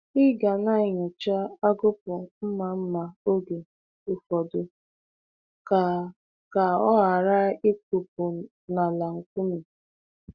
Ị ga na-enyocha agụkpụ mma mma oge ụfọdụ ka ka ọ ghara ịkụkpụ n’ala nkume.